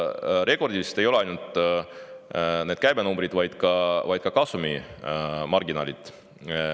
Rekordilised ei ole ainult käibenumbrid, vaid ka kasumimarginaalid.